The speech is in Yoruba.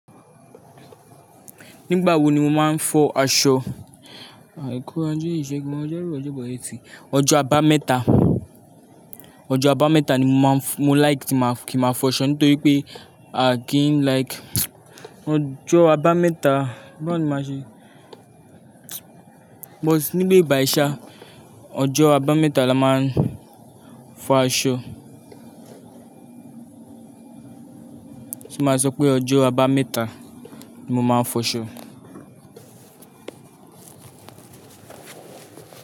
Nígbà wo ni mo máa ń fọ aṣọ? Àìkú, aje ìṣẹ́gun, ọjọ́rú, ọjọ́ ẹtì. Ọjọ́ abámẹ́ta, ọjọ́ abámẹ́ta ni mo máa ń f-- mo like kí ma fọ aṣọ nítorí pé I didn't like ọjọ́ abámẹ́ta. Báwo ni màá ṣe? But níbi bai ṣà, ọjọ́ abámẹ́ta la máa ń fọ aṣọ. Ti mo sọ pé ọjọ́ abámẹ́ta ni mo máa ń fọ aṣọ?